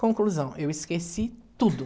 Conclusão, eu esqueci tudo.